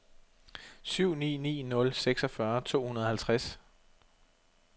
syv ni ni nul seksogfyrre to hundrede og halvtreds